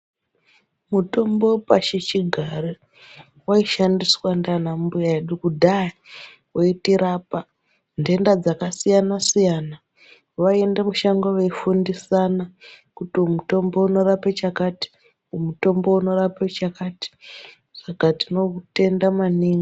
Mutombo wepashichigare waishandiswa ndiana mbuya edu kudhaya veitirapa nhenda dzakasiyana siyana, veinde mushango vefundisana kuti uyu mutombo unorape chakati uyu mutombo unorape chakati. Saka tinotenda maningi.